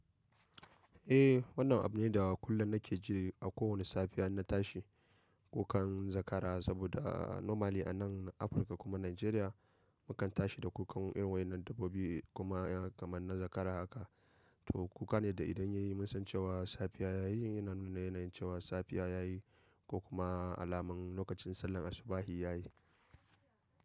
Eh wannan abu ne da kullum nake ji a kowane safiya inna tashi kukan zakara saboda normally anan Afirka kuma Nigeria mukan tashi da kukan irin wannan dabbobi kuma kamar na zakara haka. To kuka ne da idan yayi mun san cewa safiya yayi yana nuna yanayin cewa safiya yayi ko kuma alaman lokacin sallar asubah yayi.